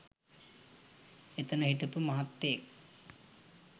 එතන හිටපු මහත්තයෙක්